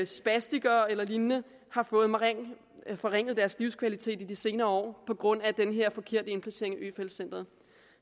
spastikere eller lignende har fået forringet deres livskvalitet i de senere år på grund af den her forkerte indplacering af øfeldt centret